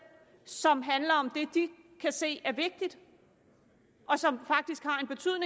som handler om det de kan se er vigtigt og som faktisk